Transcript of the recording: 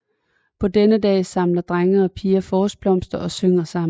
På denne dag samler drenge og piger forårsblomter og synger sammen